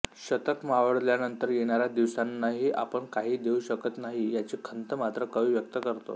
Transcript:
शतक मावळल्यानंतर येणाऱ्या दिवसांनाही आपण काही देऊ शकत नाही याची खंत मात्र कवी व्यक्त करतो